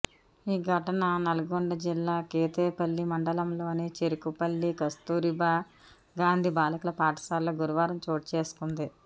ఈ ఘటన నల్గొండ జిల్లా కేతేపల్లి మండలంలోని చెర్కుపల్లి కస్తూరిబా గాంధీ బాలికల పాఠశాలలో గురువారం చోటు చేసుకుంది